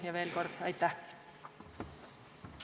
Ja veel kord: aitäh!